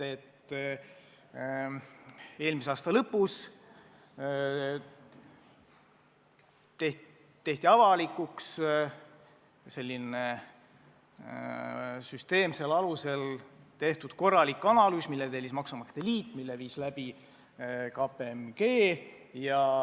Eelmise aasta lõpus avalikustati süsteemsel alusel tehtud korralik analüüs, mille tellis maksumaksjate liit ja mille viis läbi KPMG.